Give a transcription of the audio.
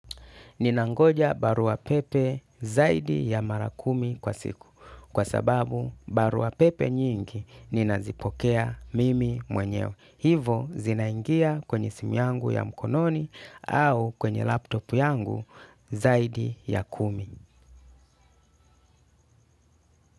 Ninangoja barua pepe zaidi ya mara kumi kwa siku kwa sababu barua pepe nyingi ninazipokea mimi mwenyewe. Hivyo zinaingia kwenye simu yangu ya mkononi au kwenye laptop yangu zaidi ya kumi.